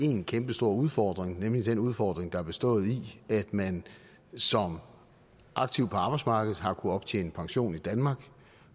en kæmpestor udfordring nemlig den udfordring der har bestået i at man som aktiv på arbejdsmarkedet har kunnet optjene pension i danmark